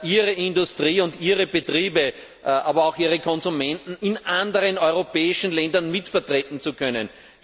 ihre Industrie und ihre Betriebe, aber auch ihre Konsumenten in anderen europäischen Ländern mitvertreten zu können.